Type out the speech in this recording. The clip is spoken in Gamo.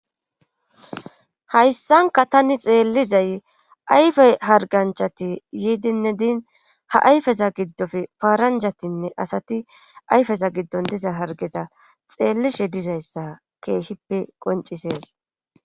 Hayssanka tani xeellizay ayfey harganchati yiidinne diin ha ayfeza giddoppe paaranjatinne asati ayfeza giddon diza hargeza xeellishe dizayssa keehippe qoncisees.